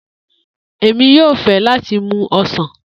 Emi yoo fẹ lati mu Osan.